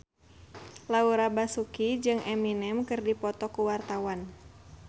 Laura Basuki jeung Eminem keur dipoto ku wartawan